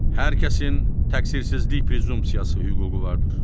Hər kəsin təqsirsizlik prezumpsiyası hüququ vardır.